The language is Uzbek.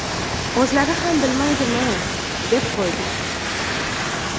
O‘zlari ham bilmaydimi, deb qo‘ydik.